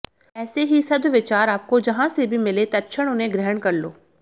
ऐसे ही सद्विचार आपको जहां से भी मिले तत्क्षण उन्हें ग्रहण कर लो